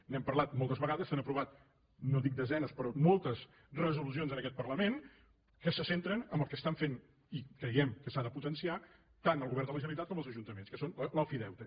n’hem parlat moltes vegades s’han aprovat no dic desenes però moltes resolucions en aquest parlament que se centren en el que estan fent i creiem que s’ha de potenciar tant el govern de la generalitat com els ajuntaments que són l’ofideute